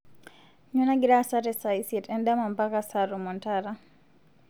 nyoo nagira aasa te saa isiet endama mpaka saa tomon taata